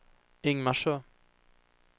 Ingmarsö